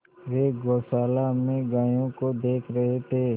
वे गौशाला में गायों को देख रहे थे